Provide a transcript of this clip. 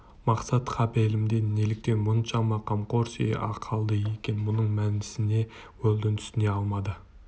мақсат қапелімде неліктен мұншама қамқорси қалды екен мұның мәнісіне уэлдон түсіне алмады